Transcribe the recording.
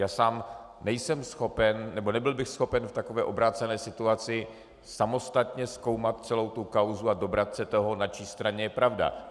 Já sám nejsem schopen nebo nebyl bych schopen v takové obrácené situaci samostatně zkoumat celou tu kauzu a dobrat se toho, na čí straně je pravda.